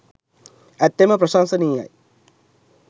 ඇත්තෙන්ම ප්‍රශංසනීයයි.